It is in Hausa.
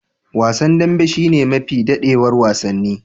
Wasan dambe shine mafi dadewar wasanni.